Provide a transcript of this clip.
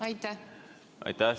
Aitäh!